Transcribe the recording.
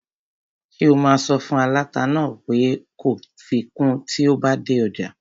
Ṣé o máa sọ fún aláta náà pé kó fi kun tí o bá dé ọjà?